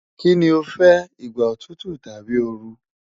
Kini o fẹ, igba otutu tabi ooru